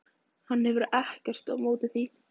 Hann hefur ekkert á móti því.